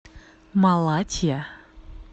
малатья